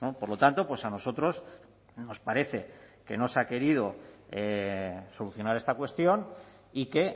por lo tanto pues a nosotros nos parece que no se ha querido solucionar esta cuestión y que